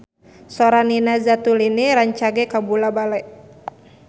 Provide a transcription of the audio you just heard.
Sora Nina Zatulini rancage kabula-bale